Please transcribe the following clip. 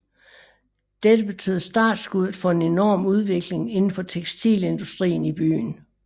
Dette betød startskuddet for en enorm udvikling inden for tekstilindustrien i byen